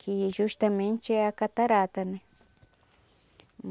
Que justamente é a catarata, né?